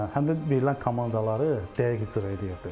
Həm də verilən komandaları dəqiq icra eləyirdi.